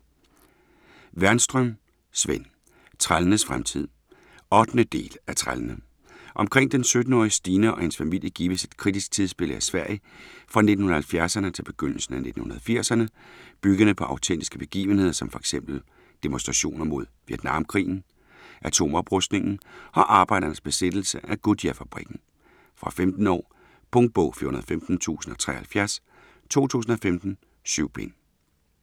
Wernström, Sven: Trællenes fremtid 8. del af Trællene. Omkring den 17-årige Stina og hendes familie gives et kritisk tidsbillede af Sverige fra 1970'erne til begyndelsen af 1980'erne byggende på autentiske begivenheder som f. eks. demonstrationer mod Vietnamkrigen, atomoprustningen og arbejdernes besættelse af Goodyear-fabrikken. Fra 15 år. Punktbog 415073 2015. 7 bind.